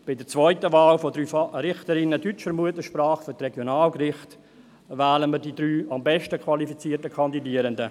Bei der zweiten Wahl von drei Richterinnen deutscher Muttersprache für die Regionalgerichte wählen wir die drei am besten qualifizierten Kandidierenden.